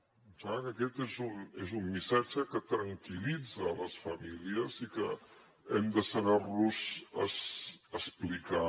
em sembla que aquest és un missatge que tranquil·litza les famílies i que hem de saber los explicar